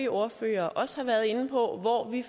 ordførere også har været inde på hvor vi